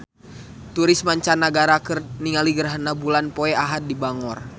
Turis mancanagara keur ningali gerhana bulan poe Ahad di Bangor